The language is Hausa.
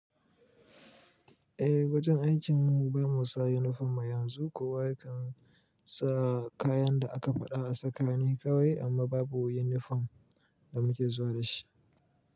Eh, wajen aikin mu ba mu sa yunifom ba yanzu, kowa ya kan sa kayan da aka faɗa a saka ne kawai amma babu yunifom da muke zuwa da shi.